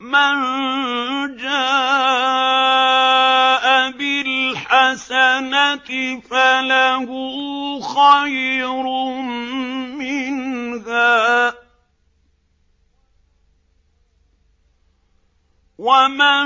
مَن جَاءَ بِالْحَسَنَةِ فَلَهُ خَيْرٌ مِّنْهَا ۖ وَمَن